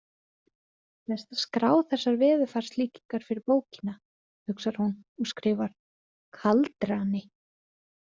Best að skrá þessar veðurfarslíkingar fyrir bókina, hugsar hún og skrifar: kaldrani.